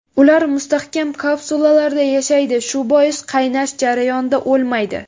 Ular mustahkam kapsulalarda yashaydi, shu bois qaynash jarayonida o‘lmaydi.